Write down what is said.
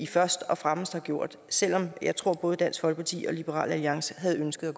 først og fremmest har gjort selv om jeg tror at både dansk folkeparti og liberal alliance havde ønsket